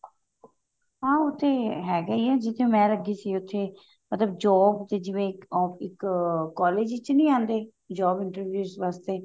ਹਾਂ ਉਹ ਤੇ ਹੈਗਾ ਹੀ ਹੈ ਜਿੱਥੇ ਮੈਂ ਲੱਗੀ ਸੀ ਉੱਥੇ ਮਤਲਬ job ਚ ਜਿਵੇਂ ਇੱਕ ਅਮ ਇੱਕ collage ਵਿੱਚ ਨੀ ਆਉਂਦੇ job interviews ਵਾਸਤੇ